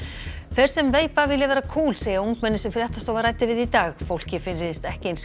þeir sem veipa vilja vera kúl segja ungmenni sem fréttastofa ræddi við í dag fólki finnist ekki eins